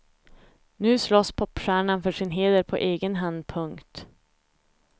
Nu slåss popstjärnan för sin heder på egen hand. punkt